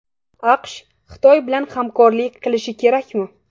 AQSh Xitoy bilan hamkorlik qilishi kerakmi?